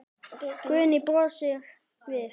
Guðrún brosir við.